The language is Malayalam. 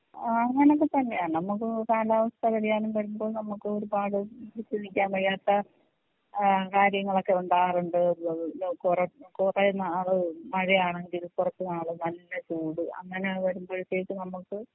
അങ്ങനെയൊക്കെ തന്നെയാണ് നമുക്ക് കാലാവസ്ഥ വ്യതിയാനം വരുമ്പോ നമുക്ക് ഒരുപാട് വയ്യാത്ത ഏഹ് കാര്യങ്ങളൊക്കെ ഉണ്ടാകാറുണ്ട് കൊറേ കുറെ നാള് മഴയാണെങ്കിൽ കുറച്ചുനാള് നല്ല ചൂട് അങ്ങനെ വരുമ്പോഴത്തേക്ക് നമ്മക്ക്